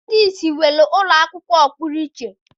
Ndị ìsì nwere ụlọakwụkwọ ọpụrụ iche.